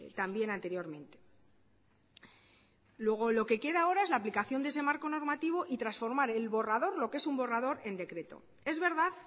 también anteriormente luego lo que queda ahora es la aplicación de ese marco normativo y transformar el borrador lo que es un borrador en decreto es verdad